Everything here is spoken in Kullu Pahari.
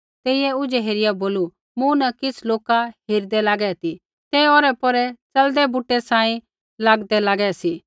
तेइयै ऊझै हेरिया बोलू मूँ न किछ़ लोका हेरिदै लागै सी ते औरैपौरै च़लदै बूटै सांही लागदै लागै सी